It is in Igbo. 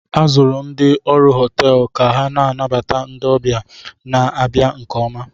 A zụrụ ndị ọrụ họteelụ ka ha na-anabata ndị ọbịa na-abịa nke oma